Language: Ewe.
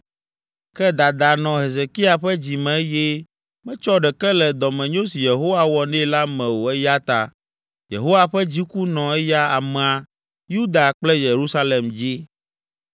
Ke dada nɔ Hezekia ƒe dzi me eye metsɔ ɖeke le dɔmenyo si Yehowa wɔ nɛ la me o eya ta Yehowa ƒe dziku nɔ eya amea, Yuda kple Yerusalem dzi.